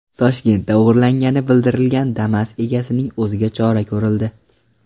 Toshkentda o‘g‘irlangani bildirilgan Damas egasining o‘ziga chora ko‘rildi.